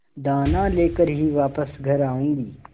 दाना लेकर ही वापस घर आऊँगी